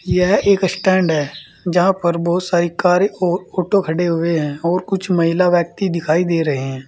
यह एक स्टैंड है जहाँ पर बोहोत सारी कारें और ऑटो खड़े हुए हैं और कुछ महिला व्यक्ति दिखाई दे रहे हैं।